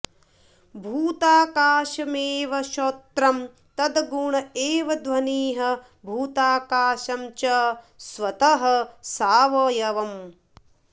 भूताकाशमेव श्रोत्रं तद्गुण् एव ध्वनिः भूताकाशं च स्वतः सावयवम्